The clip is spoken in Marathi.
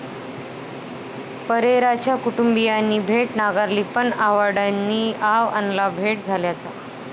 परेरांच्या कुटुंबियांनी भेट नाकारली, पण आव्हाडांनी आव आणला भेट झाल्याचा!